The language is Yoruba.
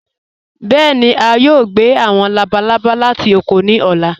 Bẹẹni, à yòò gbẹ̀ àwọn làbàlàbà láti ọ̀kọ̀ ní ọ̀là.